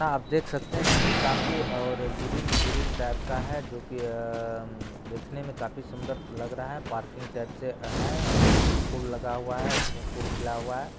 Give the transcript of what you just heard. आप देख सकते हैं कि काफी और ग्रीन ग्रीन टाइप का है और जो कि आ देखने में काफी सुंदर लग रहा है पार्किंग टाइप से है फूल लगा हुआ है इसमें फूल खिला हुआ है।